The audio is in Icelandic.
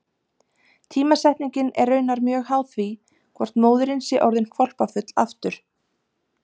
Tímasetningin er raunar mjög háð því hvort móðirin sé orðin hvolpafull aftur.